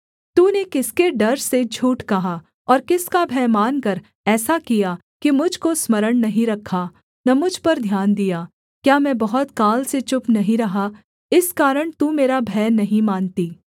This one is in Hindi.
तूने किसके डर से झूठ कहा और किसका भय मानकर ऐसा किया कि मुझ को स्मरण नहीं रखा न मुझ पर ध्यान दिया क्या मैं बहुत काल से चुप नहीं रहा इस कारण तू मेरा भय नहीं मानती